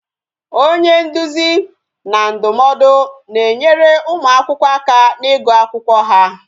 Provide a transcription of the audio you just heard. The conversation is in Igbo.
Onye nduzi na ndụmọdụ na-enyere ụmụ akwụkwọ aka n'igu akwụkwọ ha